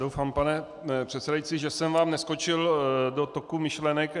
Doufám, pane předsedající, že jsem vám neskočil do toku myšlenek.